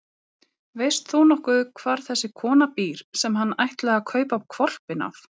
Veist þú nokkuð hvar þessi kona býr sem hann ætlaði að kaupa hvolpinn af?